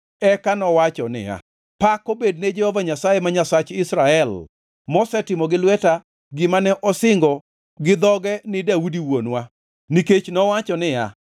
Eka nowacho niya, “Pak obed ne Jehova Nyasaye, ma Nyasach Israel, mosetimo gi lwete gima ne osingo gi dhoge ni Daudi wuonwa. Nikech nowacho niya,